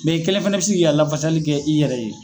Mɛ i kelen fɛnɛ bi si k'i ka lafasali kɛ i yɛrɛ ye